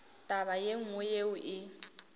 taba ye nngwe yeo e